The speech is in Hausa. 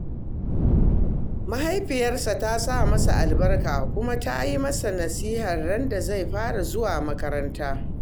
Mahaifiyarsa ta sa masa albarka kuma ta yi masa nasiha randa zai fara zuwa makarantar